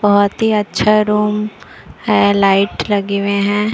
बहुत ही अच्छा रूम है लाइट लगे हुए हैं।